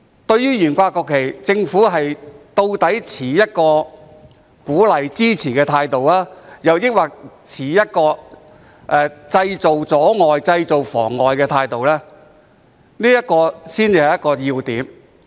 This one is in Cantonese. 對於懸掛國旗，究竟政府是持鼓勵及支持的態度，抑或是認為這做法造成阻礙或妨礙的態度，這才是要點。